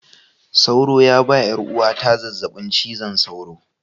Sauro ya ba 'yar uwata zazzabin cizon sauro